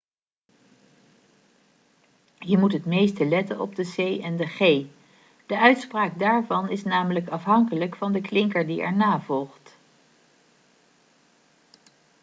je moet het meeste letten op de c en de g de uitspraak daarvan is namelijk afhankelijk van de klinker die erna volgt